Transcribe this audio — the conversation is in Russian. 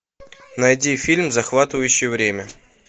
найди фильм захватывающее время